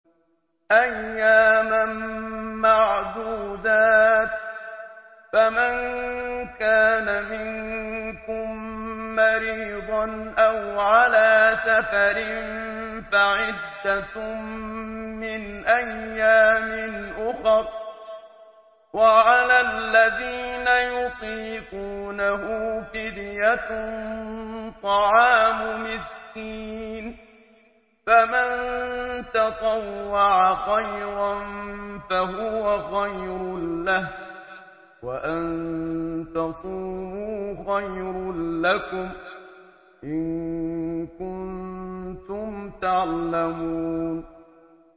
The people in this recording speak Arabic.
أَيَّامًا مَّعْدُودَاتٍ ۚ فَمَن كَانَ مِنكُم مَّرِيضًا أَوْ عَلَىٰ سَفَرٍ فَعِدَّةٌ مِّنْ أَيَّامٍ أُخَرَ ۚ وَعَلَى الَّذِينَ يُطِيقُونَهُ فِدْيَةٌ طَعَامُ مِسْكِينٍ ۖ فَمَن تَطَوَّعَ خَيْرًا فَهُوَ خَيْرٌ لَّهُ ۚ وَأَن تَصُومُوا خَيْرٌ لَّكُمْ ۖ إِن كُنتُمْ تَعْلَمُونَ